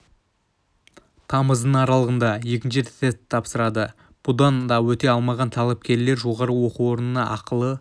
тамыздың аралығында екінші рет тест тапсырады бұдан да өте алмаған талапкерлер жоғары оқу орнында ақылы